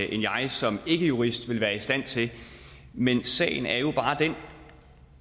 end jeg som ikkejurist vil være i stand til men sagen er jo bare den